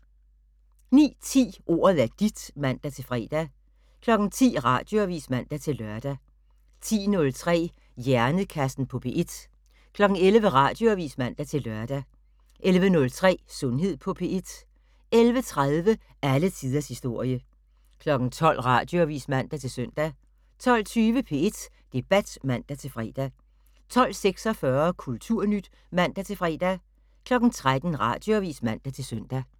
09:10: Ordet er dit (man-fre) 10:00: Radioavis (man-lør) 10:03: Hjernekassen på P1 11:00: Radioavis (man-lør) 11:03: Sundhed på P1 11:30: Alle tiders historie 12:00: Radioavis (man-søn) 12:20: P1 Debat (man-fre) 12:46: Kulturnyt (man-fre) 13:00: Radioavis (man-søn)